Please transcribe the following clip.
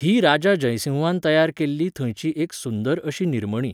ही राजा जयसिंहान तयार केल्ली थंयची एक सुंदर अशी निर्मणी